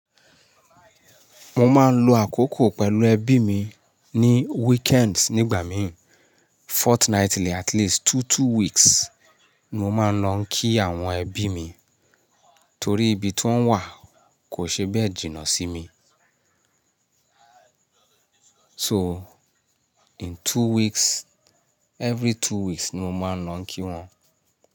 Mo máa ń lò àkókò pẹ̀lú ẹbí mi ní weekends nígbà mí, fortnightly at least tu-two weeks ni mo máa ń lọ kí àwọn ẹbí mi. Torí ibi tí wọ́n wà kò ṣe bẹ́ẹ̀ jìnnà sí mi. So, in two weeks, every two weeks ni mo máa ń lọ kí wọ́n.